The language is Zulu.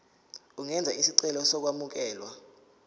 ungenza isicelo sokwamukelwa